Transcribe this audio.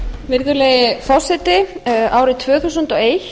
virðulegi forseti árið tvö þúsund og eitt